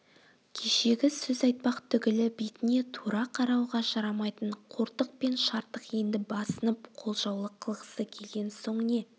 кешегі сөз айтпақ түгілі бетіне тура қарауға жарамайтын қортық пен шартық енді басынып қолжаулық қылғысы келген соң не